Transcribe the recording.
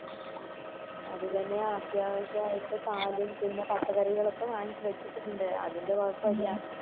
അത് തെന്നെയാ അത്യാവിശ്യയിട്ട് പാല് പിന്നെ പച്ചക്കറികൾ ഒക്കെ വാങ്ങിച്ച് വച്ചിട് ഇണ്ട് അതിൻറെ ഇല്ല